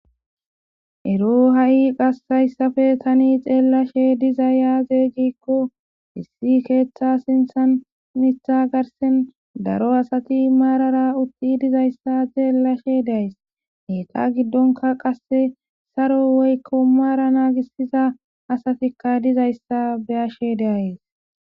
Ero ha'i qassayssafe tani xeellashe diza yaazey gikko issi keeththa sinthan mitha garsen daro asati maarara utti dizayssa xeellashe days heeta giddonka qasse saro woykko maara naagisiza asatikka dizayssa be ashe deayes